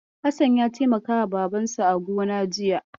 Hassan ya taimakawa Babansa a gona jiya.